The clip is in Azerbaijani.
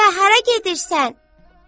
Dədə, hara gedirsən?